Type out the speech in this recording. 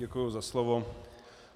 Děkuji za slovo.